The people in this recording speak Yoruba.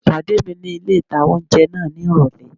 Pàdé mi ní ilé-ìtánjẹ náà ní ìrọ̀lẹ́